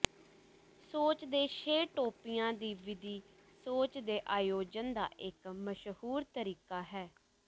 ਸੋਚ ਦੇ ਛੇ ਟੋਪੀਆਂ ਦੀ ਵਿਧੀ ਸੋਚ ਦੇ ਆਯੋਜਨ ਦਾ ਇੱਕ ਮਸ਼ਹੂਰ ਤਰੀਕਾ ਹੈ